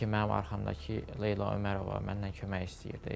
Dedi ki, mənim arxamdakı Leyla Ömərova məndən kömək istəyirdi.